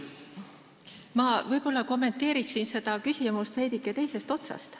Ma võib-olla kommenteerin seda küsimust veidike teisest küljest.